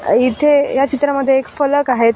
इथे या चित्रामध्ये एक फलक आहेत.